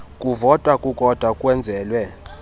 kuvota kukodwa kwenzelwe